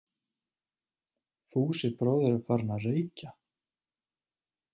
Fúsi bróðir er farinn að- reykja!